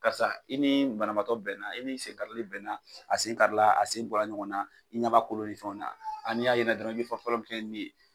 Karisa i ni banabaatɔ bɛnna i ni sen karili bɛnna a sen karila a sen bɔra ɲɔgɔn na i ɲɛba kolo ni fɛnw na, a n'ya ye ni na dɔrɔn i bɛ fen fɔlɔ min kɛ min ye.